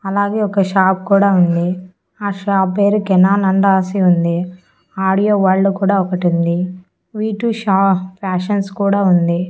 అలాగే ఒక షాప్ కూడా ఉంది. ఆ షాప్ పేరు కెనాన్ అని రాసి ఉంది. ఆడియో వల్డ్ కూడా ఒకటుంది వీ టూ షా ఫ్యాషన్స్ కూడా ఉంది.